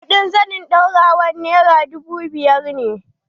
Kuɗin zanin ɗaurawar nera dubu biyar ne.